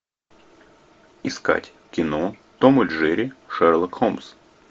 искать кино том и джерри шерлок холмс